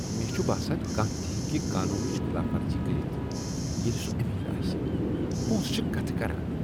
مےٚ چھ باسان ز کانٛہہ تہ ہیٚکہ قانونٕچ خلاف ورزی کٔرتھ ییلہِ سہ امیر آسہِ پونسہٕ چھ کتھٕ کران!